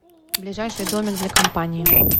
ближайший домик для компании